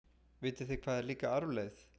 Vitið þið hvað er líka arfleifð?